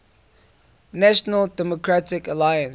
national democratic alliance